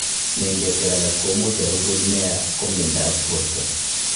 Nengeshek alak komuuch arubut neya komyanda ab borto